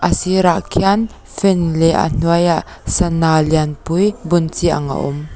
sirah khian fan leh a hnuaiah sana lian pui bun chi ang a awm.